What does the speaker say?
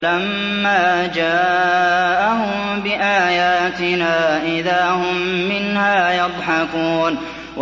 فَلَمَّا جَاءَهُم بِآيَاتِنَا إِذَا هُم مِّنْهَا يَضْحَكُونَ